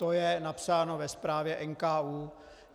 To je napsáno ve zprávě NKÚ.